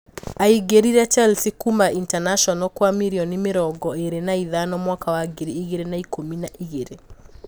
Aingirire Chelsea kuuma Internacional kwa mirioni mĩrongo ĩrĩ na ithano mwaka wa ngiri igĩrĩ na ikumi na igĩrĩ.